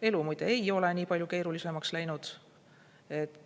Elu muide ei ole nii palju keerulisemaks läinud.